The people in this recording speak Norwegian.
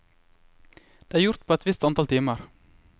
Det er gjort på et visst antall timer.